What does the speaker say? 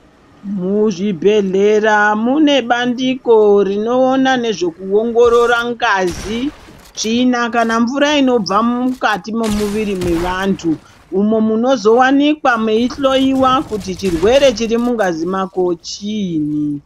Muzvi bhehlera munebandiko rinoona ngezvekuongorora tsvina kana mvura inobuda mukati memuviti mevantu imo muno zowanikwa meihloiwa kuti chirwre vhiri mungazi mako kuti chiinyi.